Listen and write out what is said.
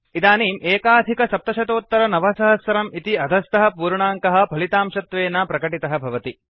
इदानीं 9701 इति अधस्थः पूर्णाङ्कः फलितांशत्वेन प्रकटितः भवति